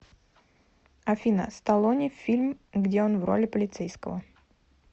афина сталлоне фильм где он в роли полицейского